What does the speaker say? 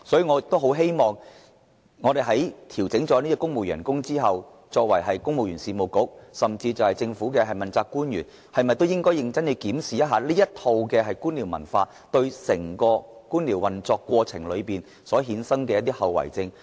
我希望在調整公務員薪酬後，公務員事務局和政府問責官員能夠認真檢視官僚文化對整個官僚運作所造成的後遺症。